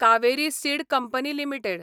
Kaveri seed company limited